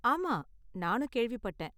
ஆமா, நானும் கேள்விப்பட்டேன்.